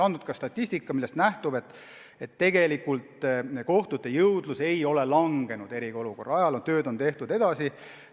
Ka statistikast nähtub, et tegelikult kohtute jõudlus eriolukorra ajal ei langenud, tööd tehti edasi.